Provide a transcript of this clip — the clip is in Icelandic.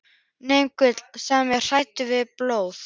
nema Gulli, sem var hræddur við blóð.